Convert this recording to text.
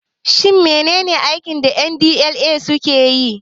Shin menene aikin da NDLEA suke yi?